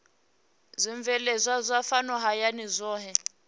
zwibveledzwa zwa fhano hayani zwohe